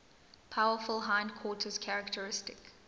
powerful hindquarters characteristic